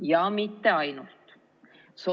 Ja mitte ainult seda.